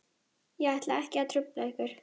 Ég ætla ekki að trufla ykkur.